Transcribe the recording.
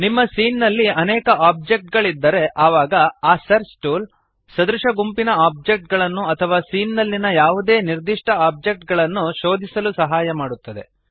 ನಿಮ್ಮ ಸೀನ್ ನಲ್ಲಿ ಅನೇಕ ಆಬ್ಜೆಕ್ಟ್ ಗಳಿದ್ದರೆ ಆವಾಗ ಈ ಸರ್ಚ್ ಟೂಲ್ ಸದೃಶ ಗುಂಪಿನ ಆಬ್ಜೆಕ್ಟ್ ಗಳನ್ನು ಅಥವಾ ಸೀನ್ ನಲ್ಲಿಯ ಯಾವುದೇ ನಿರ್ದಿಷ್ಟ ಆಬ್ಜೆಕ್ಟ್ ಅನ್ನು ಶೋಧಿಸಲು ಸಹಾಯ ಮಾಡುತ್ತದೆ